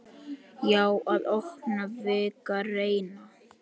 Já, að opna, víkka, reyna.